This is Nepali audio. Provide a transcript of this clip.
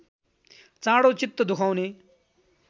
चाँडो चित्त दुखाउने